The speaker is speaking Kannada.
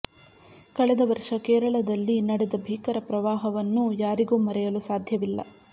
ಕಳೆದ ವರ್ಷ ಕೇರಳದಲ್ಲಿ ನಡೆದ ಭೀಕರ ಪ್ರವಾಹವನ್ನು ಯಾರಿಗೂ ಮರೆಯಲು ಸಾಧ್ಯವಿಲ್ಲ